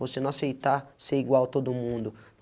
Você não aceitar ser igual a todo mundo.